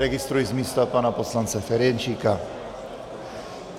Registruji z místa pana poslance Ferjenčíka.